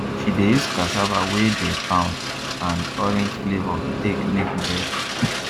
she dey use cassava wey de pound and orange flavour take make bread